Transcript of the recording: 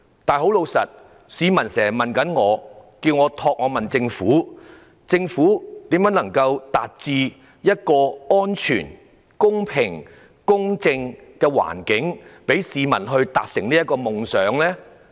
然而，市民經常問我，希望我可以問政府如何創造一個安全、公平及公正的環境，讓市民達成夢想？